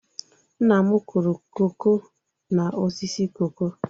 Nna m kụrụ koko n'osisi koko.